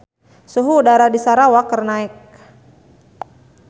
Suhu udara di Sarawak keur naek